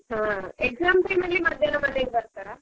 ಹಾ exam time ಅಲ್ಲಿ ಮದ್ಯಾಹ್ನ ಮನೆಗೆ ಬರ್ತಾರಾ?